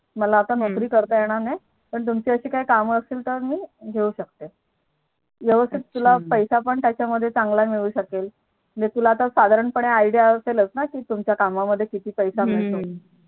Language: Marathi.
मला आता नोकरी करता येणार नाही पण तुमचं काही काम असतील तर मी घेऊ शकते. अच्छा व्यवस्थित त्या मध्ये तुला पैसे त्याचा मध्ये चांगला मिळू शकेल. तुला साधारण पणे IDea असेल न कि तुमच्या काम मध्ये किती पैसे हम्म मिळतो